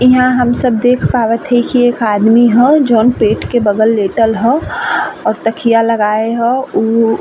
इहां हम सब देख पावत हई एक आदमी हौ जौन पेट के बगल लेटल ह और तकिया लगाल हौ। उ --